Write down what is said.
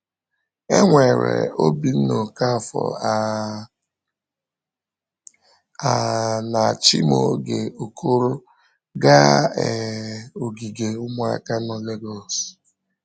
E were Obinna Okafor um um na Chimaoge Okoro gaa um ogige ụmụaka nọ Lagos.